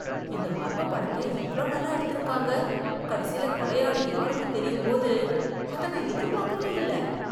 இந்த மர்மப் படத்த எவ்ளோ நல்லா எடுத்திருக்காங்க, கடைசில கொலையாளி யாருன்னு தெரியும் போது அத நான் எதிர்பாக்கவே இல்ல.